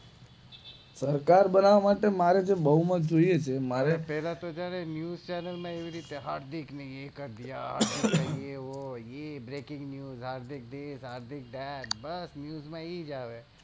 સરકાર બનાવ માટે મારે જે બહુ માટે જોઈ એ છે મારે તો પેલા તો છે ને ન્યૂઝ ચેનેલ માં એવી રીતે હાર્દિક ની એ વો એ બ્રેકીંગ ન્યૂઝ હાર્દિક ડેડ બસ ન્યૂઝ માં એ જ આવે